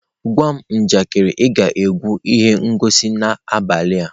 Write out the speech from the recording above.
Gwa m njakịrị ị ga-ekwu ihe ngosi n'abalị a.